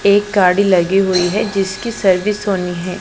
एक गाडी लगी हुई हैं जिसकी सर्विस होनी हैं।